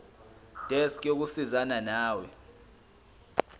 desk yokusizana nawe